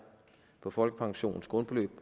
og folkepensionens grundbeløb